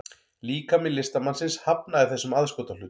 Líkami listamannsins hafnaði þessum aðskotahlut